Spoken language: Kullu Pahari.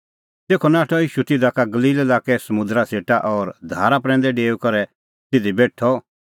तेखअ नाठअ ईशू तिधा का गलील लाक्के समुंदरा सेटा और धारा प्रैंदै डेऊई करै तिधी बेठअ